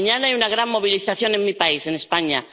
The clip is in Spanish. Mañana hay una gran movilización en mi país, en España.